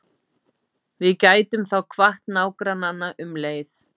Við gætum þá kvatt nágrannana um leið.